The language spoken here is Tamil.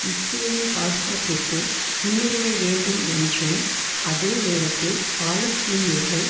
இஸ்ரேலின் பாதுகாப்பிற்கு முன்னுரிமை வேண்டும் என்றும் அதே நேரத்தில் பாலஸ்தீனியர்கள்